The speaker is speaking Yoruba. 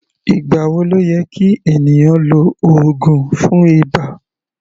Ìgbà wo ló yẹ kí ènìyàn lo oògùn fún ibà?